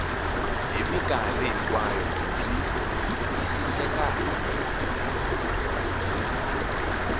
hi mikarhi hinkwayo byi twisisekaka